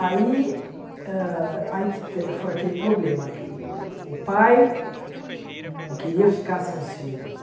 Aí hã foi aquele problema que o pai não queria ficar sem os filhos.